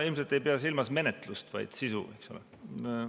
Sa ilmselt ei pea silmas menetlust, vaid sisu, eks ole.